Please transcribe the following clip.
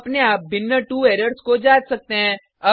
आप अपने आप भिन्न 2 एरर्स को जाँच सकते हैं